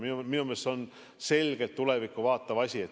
Minu meelest on see selgelt tulevikku vaatav asi.